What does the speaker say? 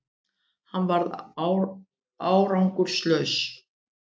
Hann varð árangurslaus